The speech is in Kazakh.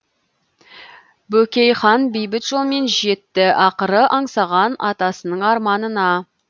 бөкей хан бейбіт жолмен жетті ақыры аңсаған атасының арманына